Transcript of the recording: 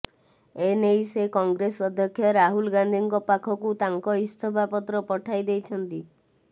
ଏନେଇ ସେ କଂଗ୍ରେସ ଅଧ୍ୟକ୍ଷ ରାହୁଲ ଗାନ୍ଧିଙ୍କ ପାଖକୁ ତାଙ୍କ ଇସ୍ତଫାପତ୍ର ପଠାଇ ଦେଇଛନ୍ତି